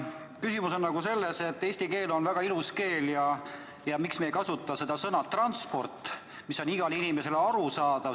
Küsimus on selles, et eesti keel on ilus keel ja miks me ei kasuta sõna "transport", mis on igale inimesele arusaadav.